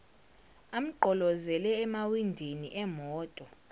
amgqolozele emawindini emoto